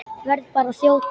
Verð bara að þjóta!